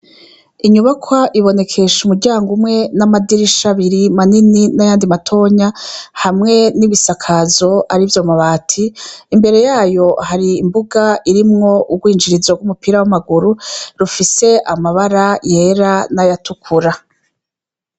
Inyubakwa ibonekesha umuryango umwe n'amadirisha abiri manini n'ayandi matonya hamwe n'ibisakazo arivyo amabati. Imbere yayo hari imbuga irimwo urwinjirizo rw'umupira w'amaguru rufise amabara yera n'ayatukura.